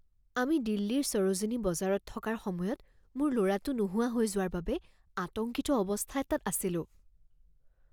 আমি দিল্লীৰ সৰোজিনী বজাৰত থকাৰ সময়ত মোৰ ল'ৰাটো নোহোৱা হৈ যোৱাৰ বাবে আতংকিত অৱস্থাত এটাত আছিলোঁ।